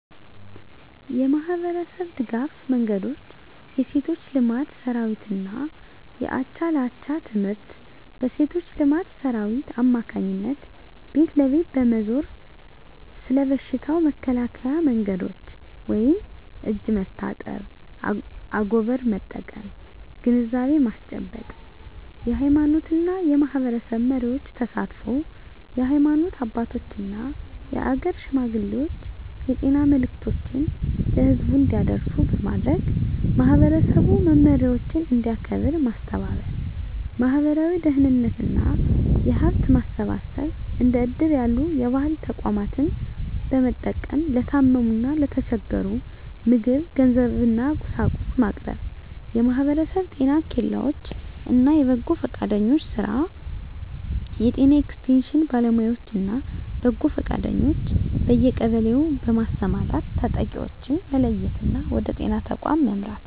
የማኅበረሰብ ድጋፍ መንገዶች የሴቶች ልማት ሠራዊትና የአቻ ለአቻ ትምህርት: በሴቶች ልማት ሠራዊት አማካኝነት ቤት ለቤት በመዞር ስለ በሽታው መከላከያ መንገዶች (እጅ መታጠብ፣ አጎበር መጠቀም) ግንዛቤ ማስጨበጥ። የሃይማኖትና የማኅበረሰብ መሪዎች ተሳትፎ: የሃይማኖት አባቶችና የአገር ሽማግሌዎች የጤና መልዕክቶችን ለሕዝቡ እንዲያደርሱ በማድረግ፣ ማኅበረሰቡ መመሪያዎችን እንዲያከብር ማስተባበር። ማኅበራዊ ደህንነትና የሀብት ማሰባሰብ እንደ እድር ያሉ የባህል ተቋማትን በመጠቀም ለታመሙና ለተቸገሩ ምግብ፣ ገንዘብና፤ ቁሳቁስ ማቅረብ። የማኅበረሰብ ጤና ኬላዎች እና የበጎ ፈቃደኞች ሥራ: የጤና ኤክስቴንሽን ባለሙያዎችና በጎ ፈቃደኞች በየቀበሌው በማሰማራት ተጠቂዎችን መለየትና ወደ ጤና ተቋም መምራት።